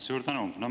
Suur tänu!